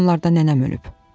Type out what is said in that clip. Bu yaxınlarda nənəm ölüb.